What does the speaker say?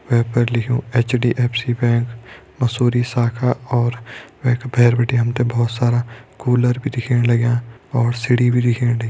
वै पर लिख्युं HDFC bank Mussoorie शाखा और वैका भैर बिटि हमतें भोत सारा कूलर भी दिखेण लग्यां और सीढ़ी भी दिख्येण ल --